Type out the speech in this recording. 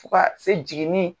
Fo kaa se jigini